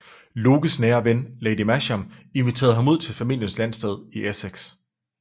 Lockes nære ven Lady Masham inviterede ham ud til familiens landsted i Essex